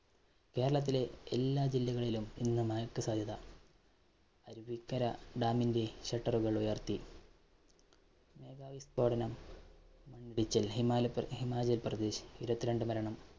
കേരളത്തിലെ എല്ലാ ജില്ലകളിലും ഇന്ന് മഴയ്ക്ക് സാധ്യത. അരുവിക്കര dam ന്റെ shutter കള്‍ ഉയര്‍ത്തി. മേഘവിസ്ഫോടനം. ഹിമാചല്‍ ഹിമാചല്‍ പ്രദേശ്‌ ഇരുപത്തിരണ്ടു മരണം.